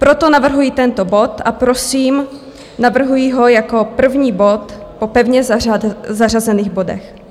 Proto navrhuji tento bod a prosím, navrhuji ho jako první bod po pevně zařazených bodech.